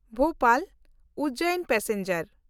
Bhopal Ujjain passenger